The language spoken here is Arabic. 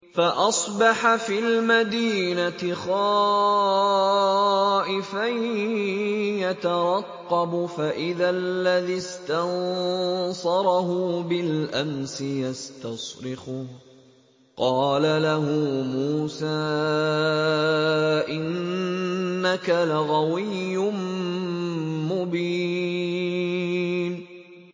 فَأَصْبَحَ فِي الْمَدِينَةِ خَائِفًا يَتَرَقَّبُ فَإِذَا الَّذِي اسْتَنصَرَهُ بِالْأَمْسِ يَسْتَصْرِخُهُ ۚ قَالَ لَهُ مُوسَىٰ إِنَّكَ لَغَوِيٌّ مُّبِينٌ